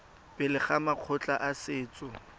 pele ga makgotla a setso